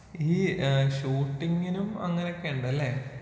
ഈ ഏഹ് ഷൂട്ടിങ്ങിനും അങ്ങനെയൊക്കെയുണ്ടല്ലേ?